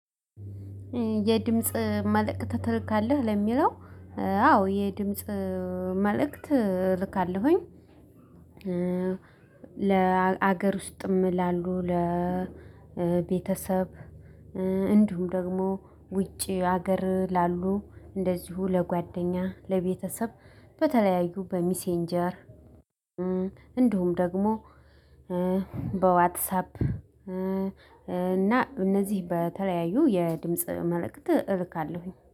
የድምጽ መልእክት ትልካለህ ለሚለው አዎ አዎ የድምጽ መልእክት ልካለሁኝ። ለሀገር ውስጥም ላሉ ለቤተሰብ እንዲሁም ደግሞ ውጪ ሀገር ላሉ እንደዚሁ ለጓደኛ ለቤተሰብ በተለያዩ በሚሴንጀር። እንዲሁም ደግሞ በዋትሳፕ እና እነዚህ በተለያዩ የድምጽ መልእክት እልካለሁኝ